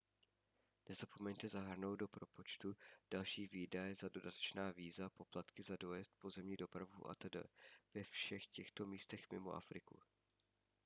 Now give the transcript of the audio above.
nezapomeňte zahrnout do propočtu další výdaje za dodatečná víza poplatky za odjezd pozemní dopravu atd ve všech těchto místech mimo afriku